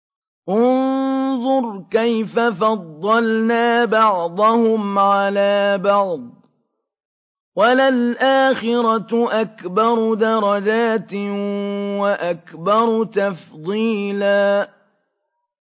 انظُرْ كَيْفَ فَضَّلْنَا بَعْضَهُمْ عَلَىٰ بَعْضٍ ۚ وَلَلْآخِرَةُ أَكْبَرُ دَرَجَاتٍ وَأَكْبَرُ تَفْضِيلًا